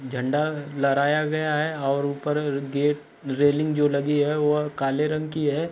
झंडा लहराया गया है और ऊपर गेट रेलिंग जो लगी है वह काले रंग की है